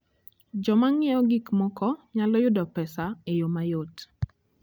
Joma ng'iewo gik moko nyalo yudo pesa e yo mayot.